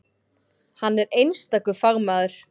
Hann er einstakur fagmaður.